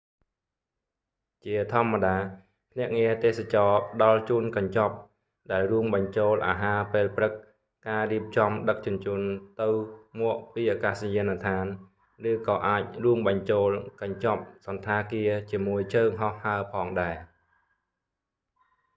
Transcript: ជាធម្មតា ភ្នាក់ងារទេសចរណ៍ផ្តល់ជូនកញ្ចប់ ដែលរួមបញ្ចូលអាហារពេលព្រឹក ការរៀបចំដឹកជញ្ជូនទៅ/មកពីអាកាសយានដ្ឋាន ឬក៏អាចរួមបញ្ចូលកញ្ចប់សណ្ឋាគារជាមួយជើងហោះហើរផងដែរ។